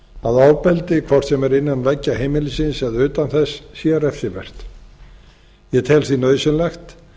að ofbeldi hvort sem er innan veggja heimilisins eða utan þess sé refsivert ég tel því nauðsynlegt